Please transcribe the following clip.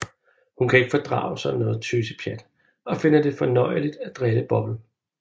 Hun kan ikke fordrage sådan noget tøsepjat og finder det fornøjeligt at drille Bobbel